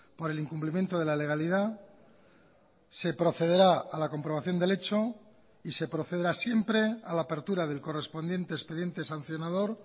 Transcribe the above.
por el incumplimiento de la legalidad se procederá a la comprobación del hecho y se procederá siempre a la apertura del correspondiente expediente sancionador